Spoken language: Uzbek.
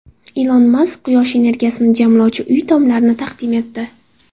Ilon Mask quyosh energiyasini jamlovchi uy tomlarini taqdim etdi.